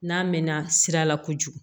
N'a mɛɛnna sira la kojugu